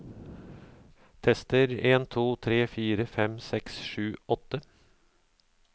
Tester en to tre fire fem seks sju åtte